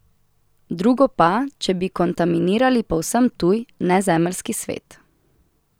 Drugo pa, če bi kontaminirali povsem tuj, nezemeljski svet.